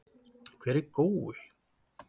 Hver er Gói?